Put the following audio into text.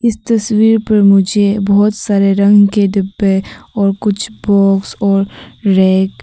इस तस्वीर पर मुझे बहुत सारे रंग के डिब्बे और कुछ बॉक्स और रैक --